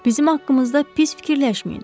Bizim haqqımızda pis fikirləşməyin.